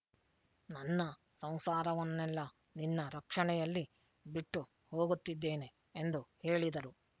ನನ್ನ ಸಂಸಾರವನ್ನೆಲ್ಲ ನಿನ್ನ ರಕ್ಷಣೆಯಲ್ಲಿ ಬಿಟ್ಟು ಹೋಗುತ್ತಿದ್ದೇನೆ ಎಂದು ಹೇಳಿದರು